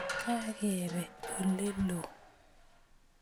Kakebe ole lo